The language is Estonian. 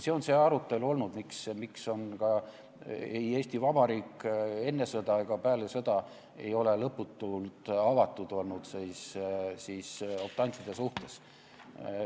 See on see arutelu olnud, miks ka Eesti Vabariik enne sõda ega peale sõda ei ole lõputult optantide suhtes avatud olnud.